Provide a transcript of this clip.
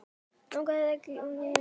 Leigan hækki ekki meira.